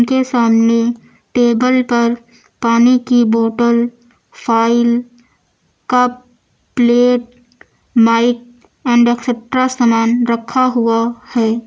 के सामने टेबल पर पानी की bottle file cup plate mic and etcetera सामान रखा हुआ है।